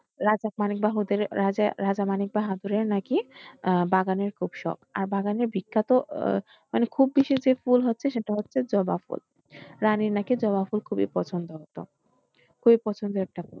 রাজা মানিক বাহাদুরের, রাজা, রাজা মানিক বাহাদুরের নাকি। আহ বাগানের খুব শখ। আর বাগানের বিখ্যাত আহ মানে খুব বেশি যে ফুল হচ্ছে সেটা হচ্ছে জবা ফুল। রানীর নাকি জবা ফুল খুবই পছন্দ হত খুবই পছন্দের একটা ফুল।